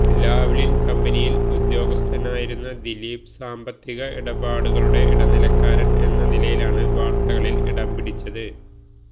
Lavalin കമ്പനിയിൽ ഉദ്യോഗസ്ഥനായിരുന്ന ദിപീല് സാമ്പത്തിക ഇടപാടുകളുടെ ഇടനിലക്കാരൻ എന്ന നിലയിലാണ് വാർത്തകളിൽ ഇടംപിടിച്ചത്